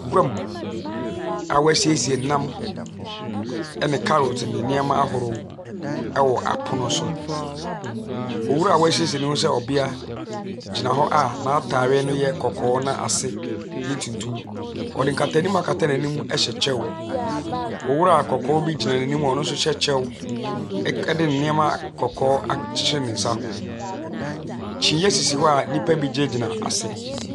Gua mu a wɔasiesie nam ne carrot ne nneɛma ahorow wɔ apono so. Owura a wɔasiesie ne ho sɛ ɔbea gyina hɔ a n’ataare no yɛ kɔkɔɔ na ase yɛ tuntum. Ɔde nkata anim akata n’anim a ɛhyɛ kyɛw. Owura kɔkɔɔ bi nso gyina n’anim a no so hyɛ kyɛw, ɔde nneɛma akyekyere ne nsa ho. Kyinie sisi hɔ a nnipa gyinagyina ase.